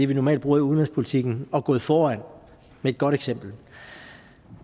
vi normalt bruger i udenrigspolitikken og gået foran med et godt eksempel